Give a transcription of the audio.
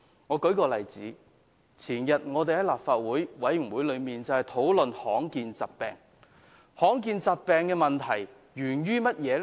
我舉一個例子，在前天的立法會衞生事務委員會會議上，我們討論罕見疾病，罕見疾病的問題源於甚麼呢？